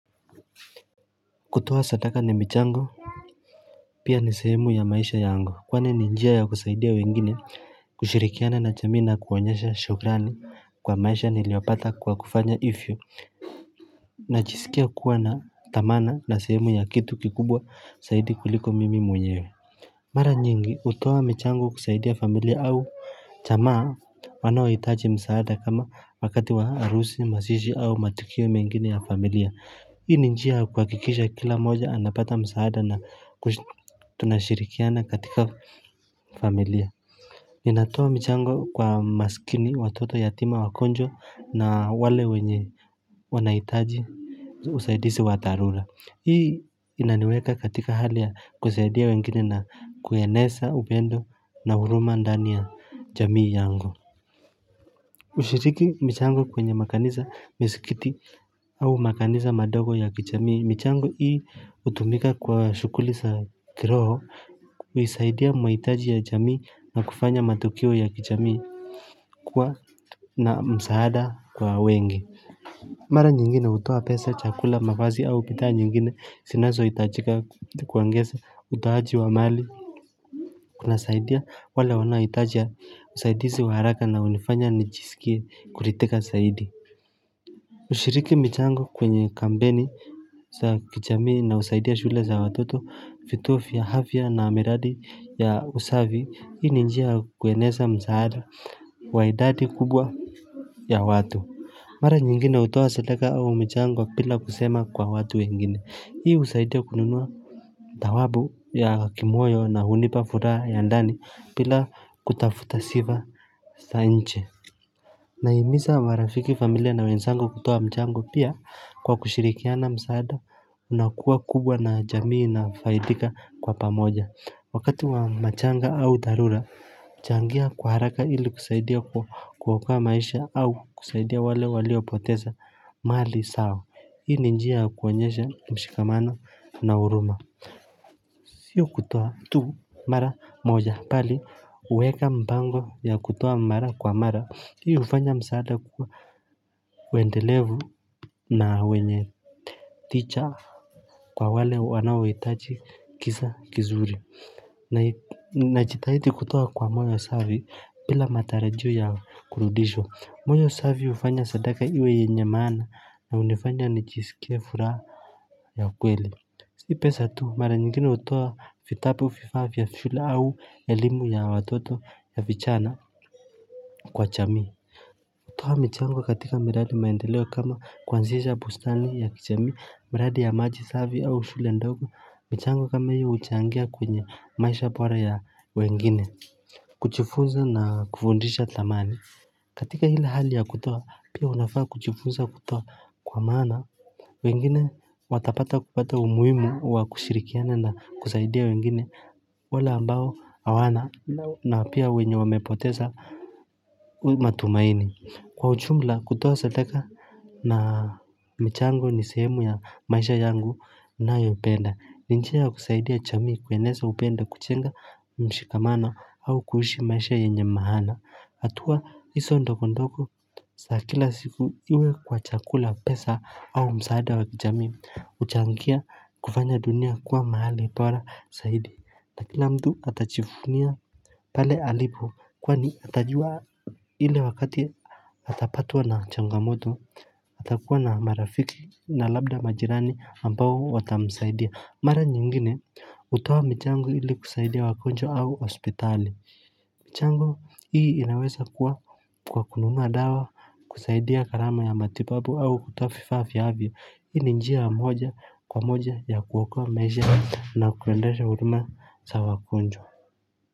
Kutoa sadaka na michango Pia ni sehemu ya maisha yangu kwani ni njia ya kusaidia wengine kushirikiana na jamii na kuonyesha shukrani kwa maisha niliyopata kwa kufanya hivyo Najisikia kuwa na dhamana na sehemu ya kitu kikubwa zaidi kuliko mimi mwenyewe Mara nyingi hutoa michango kusaidia familia au jamaa wanaohitaji msaada kama wakati wa arusi, mazishi au matukio mengine ya familia. Hii ni njia ya kuhakikisha kila moja anapata msaada na tunashirikiana katika familia. Ninatoa michango kwa maskini watoto yatima wagonjwa na wale wenye wanahitaji usaidizi wa dharura. Hii inaniweka katika hali ya kusaidia wengine na kueneza upendo na huruma ndani ya jamii yangu. Kushiriki michango kwenye makanisa misikiti au makanisa madogo ya kijamii michango hii hutumika kwa shughuli za kiroho huisaidia mahitaji ya jamii na kufanya matokeo ya kijamii kuwa na msaada kwa wengi mara nyingine hutoa pesa chakula mavazi au bidhaa nyingine zinazo hitajika kuongeza utoaji wa mali kunasaidia wale wanaohitaji usaidizi wa haraka na hunifanya nijisikie kuridhika zaidi kushiriki michango kwenye kampeni za kijamii na husaidia shule za watoto vituo vya afya na miradi ya usafi hii ni njia kueneza msaada wa idadi kubwa ya watu Mara nyingine hutoa sadaka au michango bila kusema kwa watu wengine hii husaidia kununua Dhawabu ya kimoyo na hunipa furaha ya ndani bila kutafuta sifa za nje Nahimiza marafiki familia na wenzangu kutoa mchango pia kwa kushirikiana msaada unakuwa kubwa na jamii inafaidika kwa pamoja Wakati wa matanga au dharura huchangia kwa haraka ili kusaidia kwa kuokoa maisha au kusaidia wale waliopoteza mali zao Hii ni njia ya kuonyesha mshikamano na huruma Sio kutoa tu mara moja bali kuweka mpango ya kutoa mara kwa mara Hii hufanya msaada kuwa wendelevu na wenye ticha kwa wale wanaohitaji kisa kizuri na jitahidi kutoa kwa moyo safi bila matarajio ya kurudishwa moyo safi hufanya sadaka iwe yenye maana na hunifanya nijisikie furaha ya kweli Si pesa tu mara nyingine hutoa vitabu vifaa ya shule au elimu ya watoto ya vijana kwa jamii. Kutoa michango katika miradi maendeleo kama kuanzisha bustani ya kijamii miradi ya maji safi au shule ndogo. Michango kama hiyo huchangia kwenye maisha bora ya wengine. Kujifunza na kufundisha dhamani. Katika ile hali ya kutoa pia unafaa kujifunza kutoa kwa maana. Wengine watapata kupata umuhimu wa kushirikiana na kusaidia wengine wale ambao hawana na pia wenye wamepoteza matumaini kwa ujumla kutoa sadaka na mchango ni sehemu ya maisha yangu ninayopenda ni njia ya kusaidia jamii kueneza upendo kujenga mshikamano au kuishi maisha yenye maana hatua hizo ndogondogo za kila siku iwe kwa chakula pesa au msaada wa kijamii huchangia kufanya dunia kwa mahali bora zaidi na kila mtu atajivunia pale alipo kwani atajua ile wakati atapatwa na changamoto atakuwa na marafiki na labda majirani ambao watamsaidia Mara nyingine kutoa michango ili kusaidia wagonjwa au hospitali. Michango hii inaweza kuwa kwa kununua dawa kusaidia gharama ya matibabu au kutoa vifaa vya afya. Hii ni njia moja kwa moja ya kuokoa maisha na kuendesha huduma za wagonjwa.